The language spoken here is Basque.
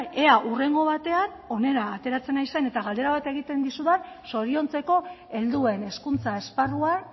ea hurrengo batean hona ateratzen naizen eta galdera bat egiten dizudan zoriontzeko helduen hezkuntza esparruan